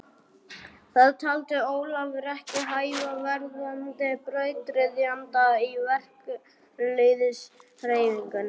Það taldi Ólafur ekki hæfa verðandi brautryðjanda í verkalýðshreyfingunni.